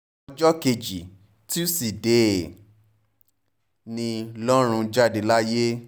ọjọ́ kejì tusidee kejì tusidee ni lọ́run jáde láyé